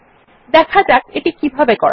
দেখা যাক এটি কিভাবে করা যায়